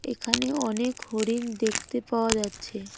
এখানে অনেক হরিণ দেখতে পাওয়া যাচ্ছে।